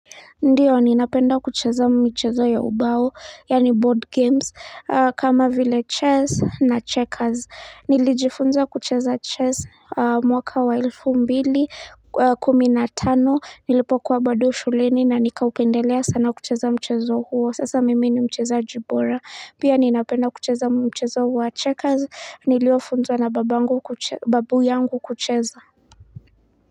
Ndiyo ninapenda kucheza mchezo ya ubao yaani board games kama vile chess na checkers nilijifunza kucheza chess mwaka wa elfu mbili kumi n atano nilipokuwa bado shuleni na nikaupendelea sana kucheza mchezo huo sasa mimi ni mchezaji bora pia ninapenda kucheza mchezo wa checkers niliofunzwa na babangu kuche babu yangu kucheza.